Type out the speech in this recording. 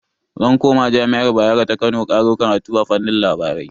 Zan koma jami'ar Bayero ta Kano karo karatu a fannin labarai.